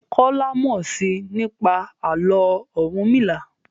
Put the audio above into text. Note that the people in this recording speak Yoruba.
Kola mọ sii nípa Àló̩ Orunmila.